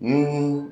Ni